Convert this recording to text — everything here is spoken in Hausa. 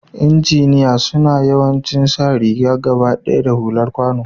lnjiniya suna yawancin sa rigan gabadaya da hular kwano.